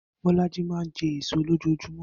Bó̩lájí máa ń je̩ èso lójoojúmó̩